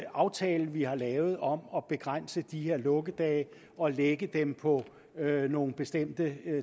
aftale vi har lavet om at begrænse de her lukkedage og lægge dem på nogle bestemte